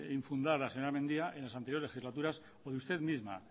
infundadas señora mendia en las anteriores legislaturas por usted misma